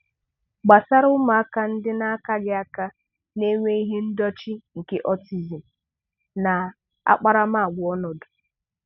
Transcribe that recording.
Gbasara ụmụaka ndị akaghị aka n'enwe ihe ọdachi nke ọọtizim na akparamàgwà ọnọdụ.